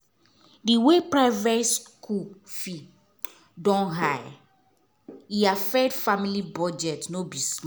the way private school fee don high e affect the family budget no be small